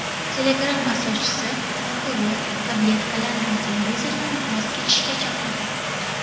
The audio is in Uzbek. Telegram asoschisi alkogol, tabletkalar va televizordan voz kechishga chaqirdi.